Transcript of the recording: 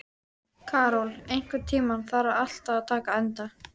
Karol, einhvern tímann þarf allt að taka enda.